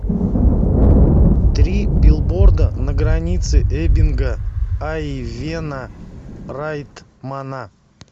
три билборда на границе эббинга айвена райтмана